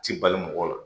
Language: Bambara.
Ti bali mɔgɔ la